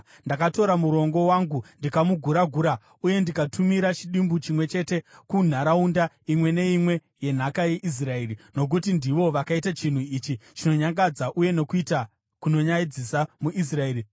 Ndakatora murongo wangu, ndikamugura-gura uye ndikatumira chidimbu chimwe chete kunharaunda imwe neimwe yenhaka yeIsraeri, nokuti ndivo vakaita chinhu ichi chinonyangadza uye nokuita kunonyadzisa muIsraeri.